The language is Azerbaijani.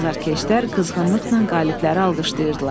Azarkeşlər qızğınlıqla qalibləri alqışlayırdılar.